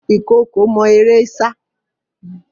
Ìkookò mọ eré sá.